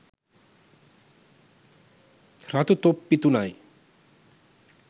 රතු තොප්පි තුනයි